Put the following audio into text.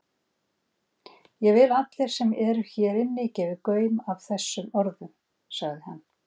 Ég vil að allir sem eru hér inni, gefi gaum að þessum orðum,-sagði hann.